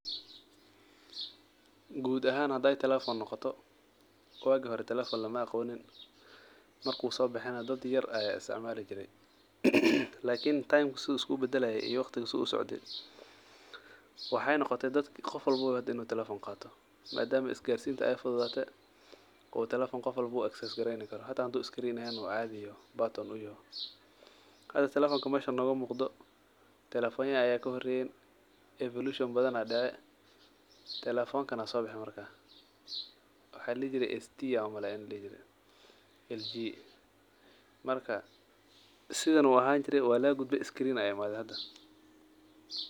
Gud ahaan haday telefon noqoto, wagi hore telefon mala aqonin marku sobexe na dad yar aa isticmali jire lakin taymk sidhuu iskubadalaye iyo waqtiga sidhuu iskubadalaye, sidu usocde waxay noqotre dadk qof walbabo in uu telefon qato madama isgarsinta ay fududdate uu telefon qof walbo access greyni karo mel cadhi batan uyaho , meshan nogamuqdho telefonya badhan aa kahoreyen kan aa sobexen, waxaa ladihi jire ST an umaleynaah marka sidhan uu ahan jire walagagudbe screen aa imadhe hada.